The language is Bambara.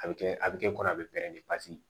A bɛ kɛ a bɛ kɛ kɔnɔ a bɛ